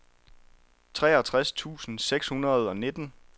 treogtres tusind seks hundrede og nitten